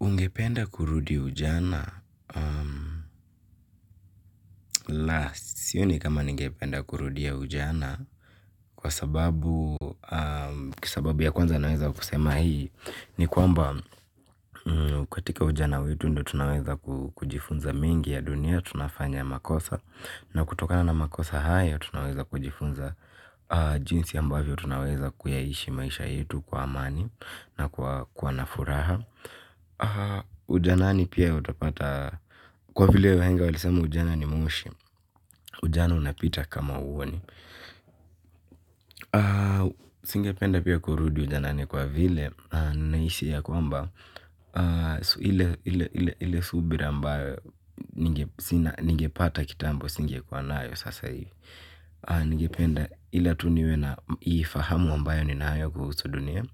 Ungependa kurudi ujana? Sioni kama nigependa kurudia ujana kwa sababu, kwa sababu ya kwanza naweza kusema hii ni kwamba katika ujana wetu ndio tunaweza kujifunza mengi ya dunia, tunafanya makosa na kutoka na makosa haya, tunaweza kujifunza. Jinsi ambavyo, tunaweza kuyaishi maisha yetu kwa amani na kuwa na furaha. Ujanani pia utapata kwa vile wahenga walisema ujana ni mwoshi. Ujana unapita kama huoni. Singependa pia kurudi ujanani kwa vile naihisi ya kwamba ile subira ambayo ningepata kitambo singekuwa nayo sasa hiv.i. Ningependa ila tu niwe na hii fahamu ambayo ninayo kuhusu dunia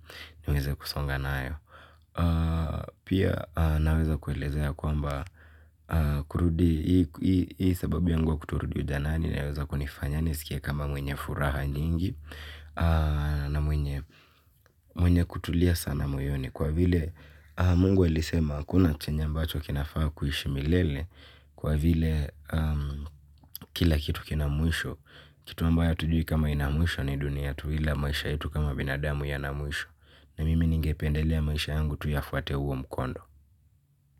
niweze kusonga nayo pia naweza kuelezea kwamba kkurudi hii sababu yangu ya kutorudi ujanani inaweza kunifanya nisikie kama mwenye furaha nyingi na mwenye kutulia sana moyoni kwa vile Mungu alisema hakuna chenye ambacho kinafaa kuishi milele kwa vile kila kitu kina mwisho kitu ambaye hatujui kama kina mwisho ni dunia tu ila maisha yetu kama binadamu yana mwisho na mimi ningependelea maisha yangu tu yafuate huo mkondo.